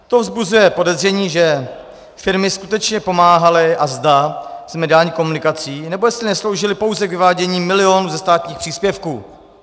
To vzbuzuje podezření, že firmy skutečně pomáhaly a zda s mediální komunikací, nebo jestli nesloužily pouze k vyvádění milionů ze státních příspěvků.